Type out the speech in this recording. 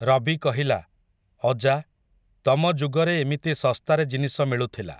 ରବି କହିଲା, ଅଜା, ତମଯୁଗରେ ଏମିତି ଶସ୍ତାରେ ଜିନିଷ ମିଳୁଥିଲା ।